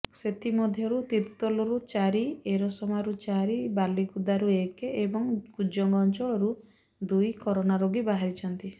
ସେଥିମଧ୍ୟରୁ ତିର୍ତ୍ତୋଲରୁ ଚାରି ଏରସମାରୁ ଚାରି ବାଲିକୁଦାରୁ ଏକ ଏବଂ କୁଜଙ୍ଗ ଅଞ୍ଚଳରୁ ଦୁଇ କରୋନା ରୋଗୀ ବାହରିଛନ୍ତି